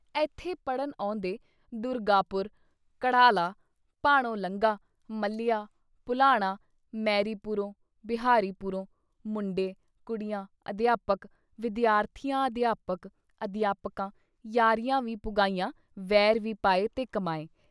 ਏਥੇ ਪੜ੍ਹਨ ਆਉਂਦੇ ਦੁਰਗਾਪੁਰ, ਕੜ੍ਹਾਲਾਂ, ਭਾਣੋ ਲੰਙਾ, ਮਲ੍ਹੀਆਂ, ਭੁਲਾਣਾ, ਮੈਰੀ ਪੁਰੋਂ, ਬਿਹਾਰੀ ਪੁਰੋਂ ਮੁੰਡੇ, ਕੁੜੀਆਂ, ਅਧਿਆਪਕ, ਵਿਦਿਆਰਥੀਆਂ ਅਧਿਆਪਕ, ਅਧਿਆਪਕਾਂ ਯਾਰੀਆਂ ਵੀ ਪੁਗਾਈਆਂ ਵੈਰ ਵੀ ਪਾਏ ਤੇ ਕਮਾਏ।